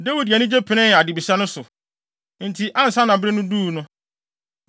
Dawid de anigye penee adebisa no so. Enti ansa na bere no duu no,